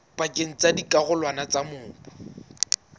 pakeng tsa dikarolwana tsa mobu